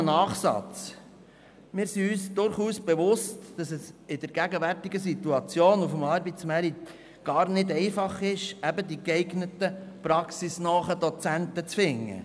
Ein Nachsatz: Wir sind uns bewusst, dass es in der gegenwärtigen Situation auf dem Arbeitsmarkt nicht einfach ist, die geeigneten praxisnahen Dozenten zu finden.